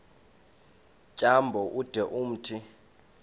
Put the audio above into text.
tyambo ude umthi